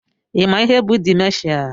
Ị ma ihe bụ dimenshia?